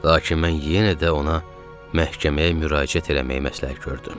Lakin mən yenə də ona məhkəməyə müraciət eləməyi məsləhət gördüm.